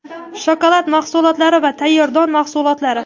shokolad mahsulotlari va tayyor don mahsulotlari.